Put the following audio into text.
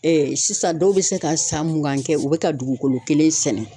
sisan dɔw bɛ se ka san mugan kɛ u bɛ ka dugukolo kelen sɛnɛ.